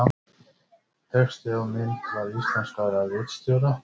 Texti á mynd var íslenskaður af ritstjórn.